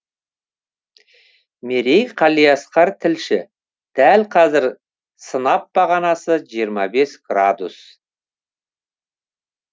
мерей қалиасқар тілші дәл қазір сынап бағанасы жиырма бес градус